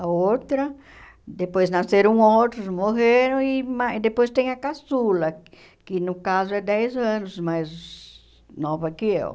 a outra, depois nasceram outros, morreram, e mais depois tem a caçula, que no caso é dez anos, mais nova que eu.